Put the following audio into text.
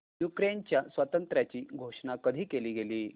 युक्रेनच्या स्वातंत्र्याची घोषणा कधी केली गेली